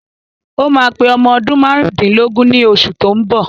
Ó máa pé ọmọ ọdún márùndínlógún ní osù tó ń bọ̀